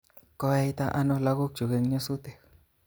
Koyaita ano lagokyuk eng nyosutik